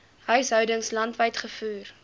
huishoudings landwyd gevoer